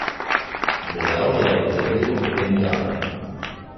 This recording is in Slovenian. Dejal je, da je bil ob tem ganjen.